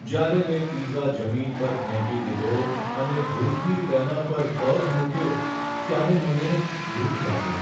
જ્યારે મેં પિઝા જમીન પર ફેંકી દીધો અને ભૂલથી તેના પર પગ મૂક્યો ત્યારે મને દુઃખ લાગ્યું.